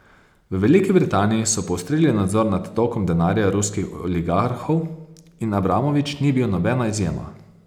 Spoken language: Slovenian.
V Veliki Britaniji so poostrili nadzor nad tokom denarja ruskih oligarhov in Abramovič ni bil nobena izjema.